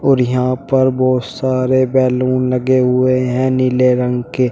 और यहां पर बहुत सारे बैलून लगे हुए हैं नीले रंग के।